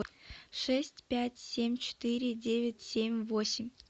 шесть пять семь четыре девять семь восемь